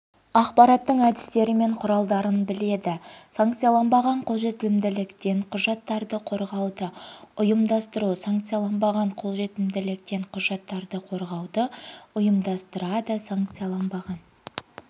ақпараттың әдістері мен құралдарын біледі санкцияланбаған қолжетімділіктен құжаттарды қорғауды ұйымдастыру санкцияланбаған қолжетімділіктен құжаттарды қорғауды ұйымдастырады санкцияланбаған